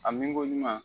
A min ko ɲuman